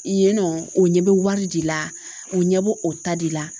Yen nɔ o ɲɛ bɛ wari de la u ɲɛ bɛ o ta de la